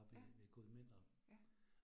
Ja. Ja